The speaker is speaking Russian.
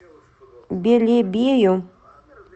белебею